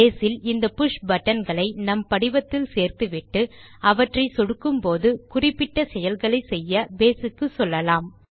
base இல் இந்த push button களை நம் படிவத்தில் சேர்த்துவிட்டு அவற்றை சொடுக்கும்போது குறிப்பிட்ட செயல்களை செய்ய பேஸ் க்கு சொல்லலாம்